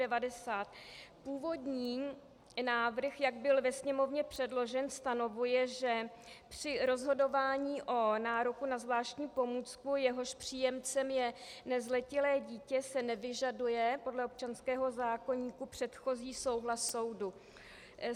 Původní návrh, jak byl ve Sněmovně předložen, stanovuje, že při rozhodování o nároku na zvláštní pomůcku, jehož příjemcem je nezletilé dítě, se nevyžaduje podle občanského zákoníku předchozí souhlas soudu.